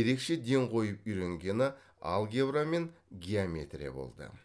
ерекше ден қойып үйренгені алгебра мен геометрия болды